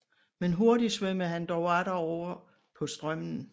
Men hurtig svømmede han dog atter oven på strømmen